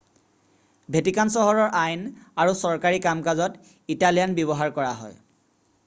Vatican চহৰৰ আইন আৰু চৰকাৰী কাম কাজত ইটালিয়ান ব্যৱহাৰ কৰা হয়